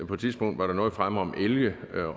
på et tidspunkt var der noget fremme om elge